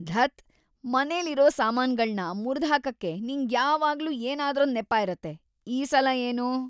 ಧತ್! ಮನೆಲಿರೋ ಸಾಮಾನ್ಗಳ್ನ ಮುರ್ದ್‌ ಹಾಕಕ್ಕೆ ನಿಂಗ್ಯಾವಾಗ್ಲೂ ಏನಾದ್ರೊಂದ್‌ ನೆಪ ಇರತ್ತೆ.. ಈ ಸಲ ಏನು?